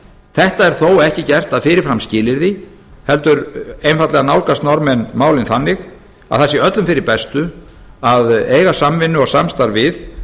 þetta er þó ekki gert að fyrirframskilyrði heldur einfaldlega nálgast norðmenn málin þannig að það sé öllum fyrir bestu að eiga samvinnu og samstarf við